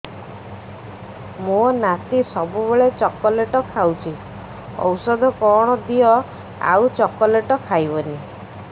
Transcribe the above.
ମୋ ନାତି ସବୁବେଳେ ଚକଲେଟ ଖାଉଛି ଔଷଧ କଣ ଦିଅ ଆଉ ଚକଲେଟ ଖାଇବନି